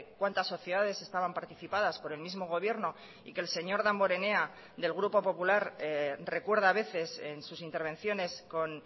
cuántas sociedades estaban participadas por el mismo gobierno y que el señor damborenea del grupo popular recuerda a veces en sus intervenciones con